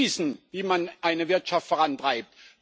Die wissen, wie man die Wirtschaft vorantreibt.